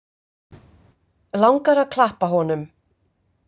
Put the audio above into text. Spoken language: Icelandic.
Langar að klappa honum.